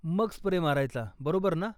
मग स्प्रे मारायचा, बरोबर ना?